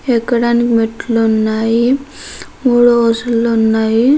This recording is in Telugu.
ఎక్కడానికి మెట్లు ఉన్నాయి మూడు వరసలు ఉన్నాయి.